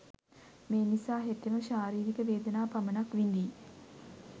මේ නිසා හෙතෙම ශාරීරික වේදනා පමණක් විඳියි.